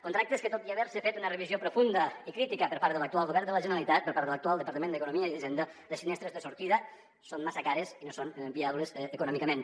contractes que tot i haver se fet una revisió profunda i crítica per part de l’actual govern de la generalitat per part de l’actual departament d’economia i hisenda les finestres de sortida són massa cares i no són viables econòmicament